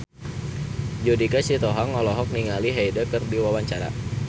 Judika Sitohang olohok ningali Hyde keur diwawancara